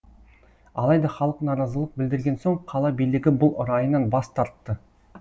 алайда халық наразылық білдірген соң қала билігі бұл райынан бас тартты